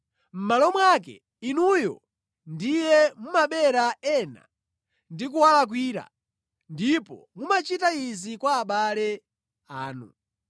Mʼmalo mwake, inuyo ndiye mumabera ena ndi kuwalakwira, ndipo mumachita izi kwa abale anu.